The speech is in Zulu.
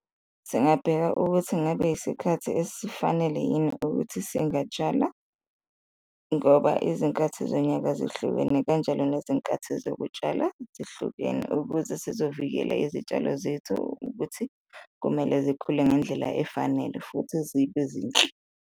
Singabheka ukuthi ngabe isikhathi esifanele yini ukuthi singatsala ngoba izinkathi zonyaka zihlukene kanjalo nezinkathi zokutshala zihlukene, ukuze sizovikela izitshalo zethu ukuthi kumele zikhule ngendlela efanele futhi zibe zinhle.